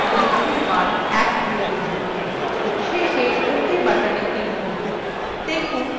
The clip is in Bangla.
increment বা বৃদ্ধির মান 1 নির্দিষ্ট করুন শেষে ok button click করুন